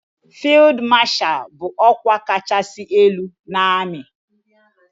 Fild mashal bu okwa kachasi elu na ami.